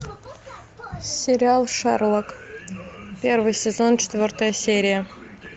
сериал шерлок первый сезон четвертая серия